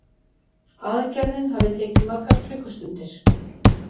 Aðgerðin hafi tekið margar klukkustundir